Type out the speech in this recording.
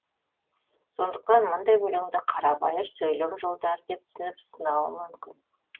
сондықтан мұндай өлеңді қарабайыр сөйлем жолдары деп түсініп сынауы мүмкін